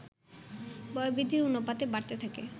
বয়ঃবৃদ্ধির অনুপাতে বাড়তে থাকে